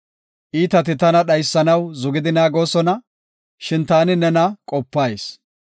Iitati tana dhaysanaw zugidi naagoosona; shin taani neena qopayis.